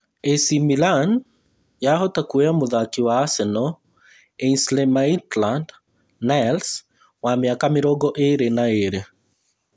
AC Milan yahota kuoya mũthaki wa Arsenal Ainsley Maitland-Niles wa mĩaka mĩrongo ĩĩrĩ na ĩĩrĩ